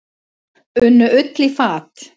Unnu Ull í fat.